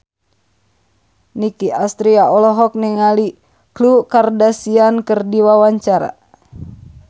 Nicky Astria olohok ningali Khloe Kardashian keur diwawancara